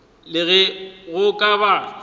le ge go ka ba